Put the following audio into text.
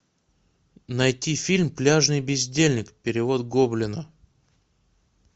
найти фильм пляжный бездельник перевод гоблина